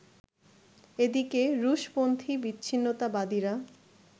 এদিকে, রুশ-পন্থী বিচ্ছিন্নতাবাদীরা